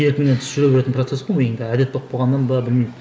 еркіңнен тыс жүре беретін процесс қой миыңда енді әдет болып қалған ба білмеймін